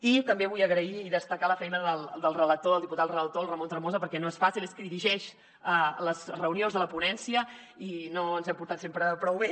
i també vull agrair i destacar la feina del relator el diputat relator el ramon tremosa perquè no és fàcil és qui dirigeix les reunions de la ponència i no ens hem portat sempre prou bé